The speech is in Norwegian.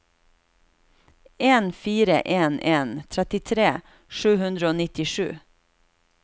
en fire en en trettitre sju hundre og nittisju